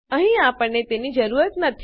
અહીં આપણને તેની જરૂર નથી